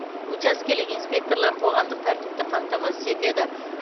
учаскелік инспекторлар қоғамдық тәртіпті қамтамасыз етеді